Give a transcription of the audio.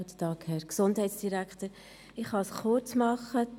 Ich kann es kurz machen: